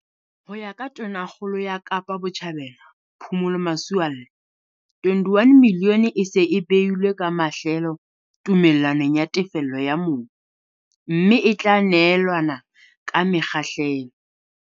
Ho ya ka Tonakgolo ya Kapa Botjhabela, Phumulo Masualle, R21 milione e se e beilwe ka mahlelo tume llanong ya tefello ya mobu, mme e tla neelanwa ka mekgahlelo.